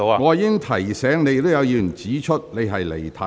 我已提醒你，亦有議員指出你離題。